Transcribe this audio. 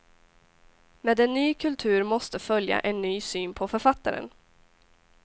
Med en ny kultur måste följa en ny syn på författaren.